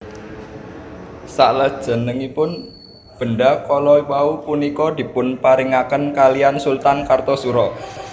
Saklajengipun benda kala wau punika dipunparingaken kalian Sultan Kartosuro